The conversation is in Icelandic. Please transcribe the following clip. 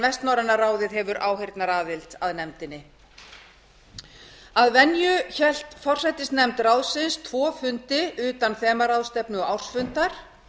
vestnorræna ráðið hefur áheyrnaraðild að nefndinni að venju hélt forsætisnefnd ráðsins tvo fundi utan þemaráðstefnu og ársfundar